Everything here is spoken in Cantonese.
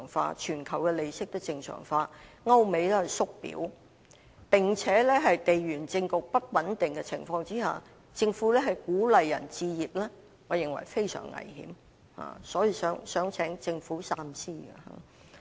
由於全球利息也會正常化，歐美"縮表"，並且在地緣政局不穩定的情況下，政府鼓勵市民置業，我認為是非常危險的，所以請政府三思。